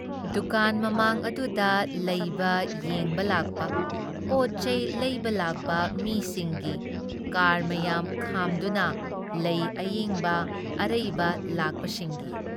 ꯗꯨꯀꯥꯟ ꯃꯃꯥꯡ ꯑꯗꯨꯗ ꯂꯩꯕ ꯌꯦꯡꯕ ꯂꯥꯛꯄ ꯄꯣꯠ ꯆꯩ ꯂꯩꯕ ꯂꯥꯛꯄ ꯃꯤꯁꯤꯡꯒꯤ ꯀꯥꯔ ꯃꯌꯥꯝ ꯈꯥꯗꯨꯅ, ꯂꯩ ꯑꯌꯦꯡꯕ, ꯑꯔꯩꯕ ꯂꯥꯛꯄꯁꯤꯡꯒꯤ ꯫